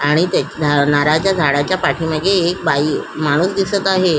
आणि ते ना नारळाच्या झाडाच्या पाठी मागे एक बाई माणुस दिसत आहे.